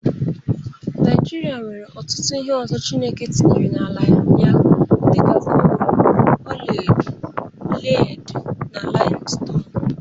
Naijịrịa nwere ọtụtụ ihe ọzọ Chineke tinyere n'ala ya dị ka kolu, ola edo, ledi na lim ston.